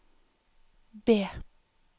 B